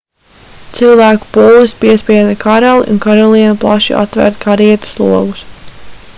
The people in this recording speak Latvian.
cilvēku pūlis piespieda karali un karalieni plaši atvērt karietes logus